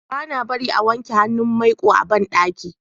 bana barin a wanke hannun maiko a banɗaki